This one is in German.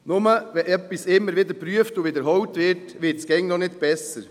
Nur weil etwas immer wieder überprüft und wiederholt wird, wird es noch nicht besser.